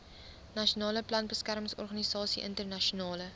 nasionale plantbeskermingsorganisasie internasionale